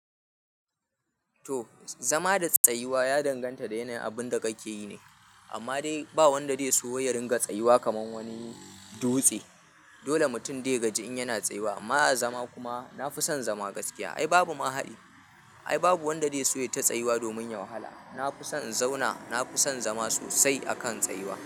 To zama da tsayuwa ya danganta da yanayin abun da kake yi ne. Amma dai ba wanda zai so ya ringa tsayuwa kamar wani dutse. Dole mutum de ya gaji in yana tsayuwa. Amma a zama kuma na fi son zama gaskiya. Ai babu ma haɗi. Ai babu wanda zai so ya ta tsayuwa domin yahwala. Na fi son in zauna, na fi son zama sosai akan tsayuwa.